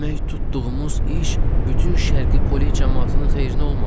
Demək, tutduğumuz iş bütün Şərqi Pole camaatının xeyrinə olmadı.